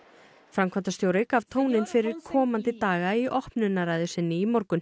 framkvæmdastjórinn gaf tóninn fyrir komandi daga í opnunarræðu sinni í morgun